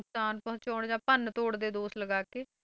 ਨੁਕਸਾਨ ਪਹੁੰਚਾਉਣ ਜਾਂ ਭੰਨ ਤੋੜ ਦੇ ਦੋਸ਼ ਲਗਾ ਕੇ,